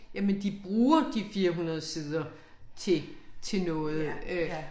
Jamen de bruger de 400 sider til til noget øh